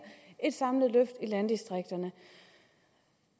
et samlet løft i landdistrikterne